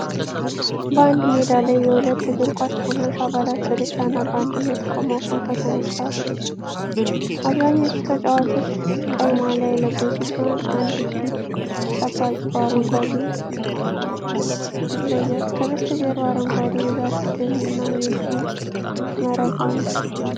በአንድ ሜዳ ላይ የሁለት እግር ኳስ ቡድኖች አባላት በደስታ እና በአንድነት ቆመው ፎቶ ተነስተዋል። አብዛኞቹ ተጫዋቾች ቀይ ማሊያ የለበሱ ሲሆን፣ አንድ ግብ ጠባቂ በአረንጓዴ ይለያል። ከበስተጀርባ አረንጓዴ የዛፍ ደንና የግብ መረብ አሉ።